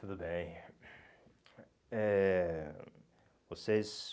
Tudo bem. Eh vocês